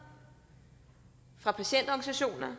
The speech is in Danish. fra patientorganisationer